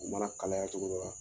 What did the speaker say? U mana kalaya cogo dɔ la